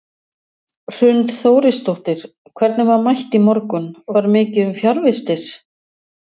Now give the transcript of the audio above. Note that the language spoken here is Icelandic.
Hrund Þórisdóttir: Hvernig var mætt í morgun, var mikið um fjarvistir?